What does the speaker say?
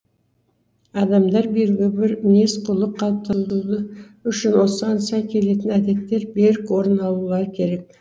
адамдар белгілі бір мінез құлық қалыптандыруы үшін осыған сай келетін әдеттер берік орын алулары керек